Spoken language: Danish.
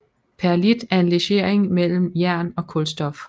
Perlit er en legering mellem jern og kulstof